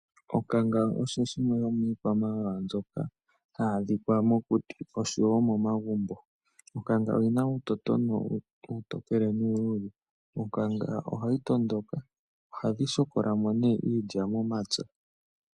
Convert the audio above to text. Onkanga osho shimwe shomiikwamawawa mbyoka hayi adhika mokuti oshowo momagumbo. Onkanga oyina uutotono uutokele nuuluudhe. Onkanga ohayi tondoka. Ohadhi shokola mo nee iilya momapya.